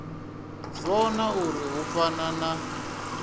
vhona uri hu fana na